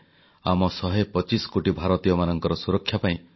କାନାଲ man of Odisha Daitari ନାୟକଙ୍କ ଉଦଯୋଗକୁ ସ୍ମରଣ କଲେ ପ୍ରଧାନମନ୍ତ୍ରୀ